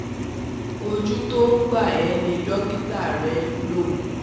Ojú tó ń gbà ẹ́ ni dókítà rẹ ń lò